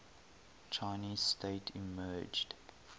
chinese state emerged